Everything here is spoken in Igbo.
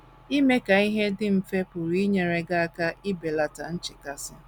Ime ka ihe dị mfe pụrụ inyere gị aka ibelata nchekasị.